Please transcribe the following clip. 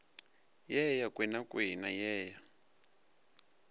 ye ya kwenakwena ye ya